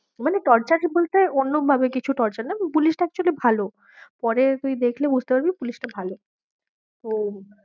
মানে torture বলতে অন্যভাবে কিছু torture না, পুলিশটা actually ভালো পরে তুই দেখলে বুঝতে পারবি পুলিশটা ভালো তো,